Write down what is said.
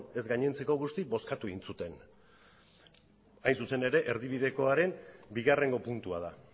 ez gainontzeko guzti bozkatu egin zuten hain zuzen ere erdibidekoaren bigarrengo puntua da